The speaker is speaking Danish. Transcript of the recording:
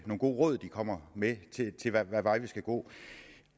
gode råd de kommer med til hvad vej vi skal gå